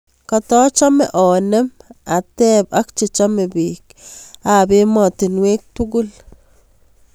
Katachame anem ateb ak chechame bik ab ematinwek tugul